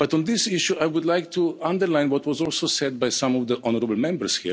But on this issue I would like to underline what was also said by some of the honourable Members.